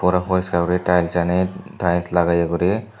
aro poriskaar guri tileschani tiles lageye guri.